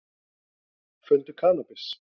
Fundu kannabis